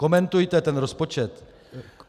Komentujte ten rozpočet -